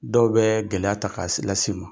Dɔw bɛ gɛlɛya ta